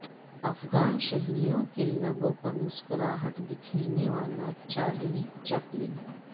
افغان شہریوں کے لبوں پر مسکراہٹ بکھیرنے والا چارلی چپلن